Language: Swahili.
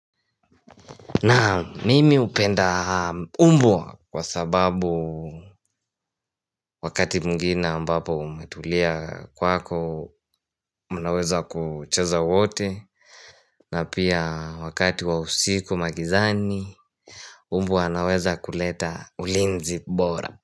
Naam mimi hupenda mbwa kwa sababu wakati mwingine ambapo umetulia kwako Unaweza kucheza wote na pia wakati wa usiku magizani mbwa anaweza kuleta ulinzi bora.